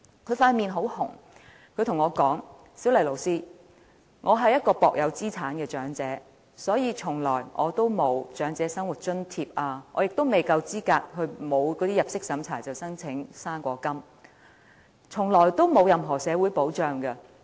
她的臉很紅，她跟我說："'小麗'老師，我是一名薄有資產的長者，所以從來沒有領取長者生活津貼，也未夠資格申領不經入息審查'生果金'，從來得不到任何社會保障。